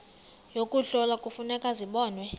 yokuhlola kufuneka zibonwe